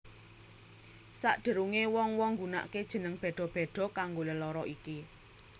Sak derunge wong wong nggunake jeneng bedha bedha kanggo lelara iki